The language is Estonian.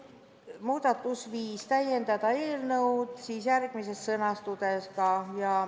Muudatusettepanek nr 5 täiendab eelnõu sõnastust.